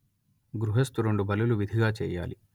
గృహస్థు రెండు బలులు విధిగా చెయ్యాలి